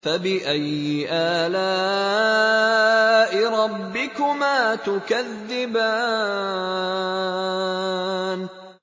فَبِأَيِّ آلَاءِ رَبِّكُمَا تُكَذِّبَانِ